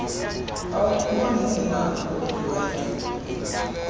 awumboni enakho ukukwenza